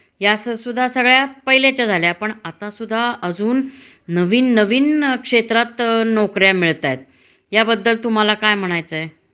या सर सुद्धा सगळ्या पहिल्याच्या झाल्या पण, आता सुद्धा अजुन नविन नविन क्षेत्रात नोकऱ्या मिळतायेत. या बद्दल तुम्हाला काय म्हणायचं आहे?